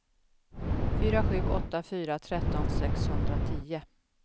fyra sju åtta fyra tretton sexhundratio